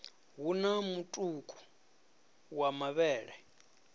hu na mutuku wa mavhele